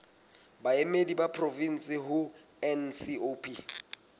baemedi ba porofensi ho ncop